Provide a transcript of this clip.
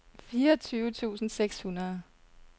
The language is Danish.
fireogtyve tusind seks hundrede